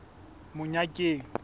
monyakeng